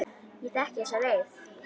Ég þekki þessa leið.